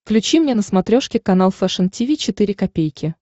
включи мне на смотрешке канал фэшн ти ви четыре ка